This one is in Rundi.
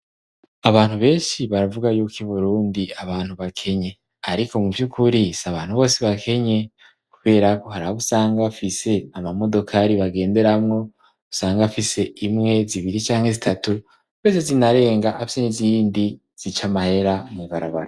Abantu benshi baravuga yuko i Burundi abantu bakenye; ariko mu vy'ukuri si abantu bose bakenye, kubera ko hari abo usanga bafise amamodokari bagenderamwo, usanga bafise imwe, zibiri canke zitatu ndetse zinarenga, afise n'izindi zica amahera mw'ibarabara.